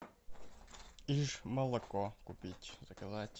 иж молоко купить заказать